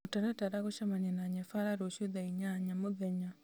mũtaratara gũcemania na nyabara rũciũ thaa inyanya mũthenya